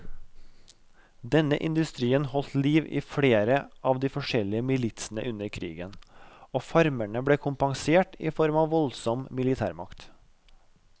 Denne industrien holdt liv i flere av de forskjellige militsene under krigen, og farmerne ble kompensert i form av voldsom militærmakt.